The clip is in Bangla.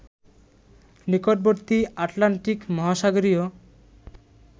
নিকটবর্তী আটলান্টিক মহাসাগরীয়